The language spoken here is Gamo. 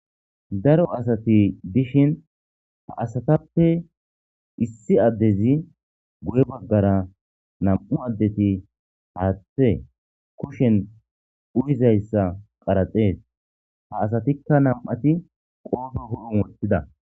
daro asati dishin ha asatappe issi addezi guye baggara nam7u addeti haathe kushen uyizayssa qaraxees ha asatikka nam7ati qoofo ho7u wothida